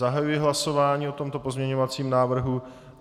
Zahajuji hlasování o tomto pozměňovacím návrhu.